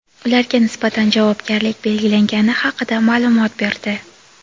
ularga nisbatan javobgarlik belgilangani haqida ma’lumot berdi.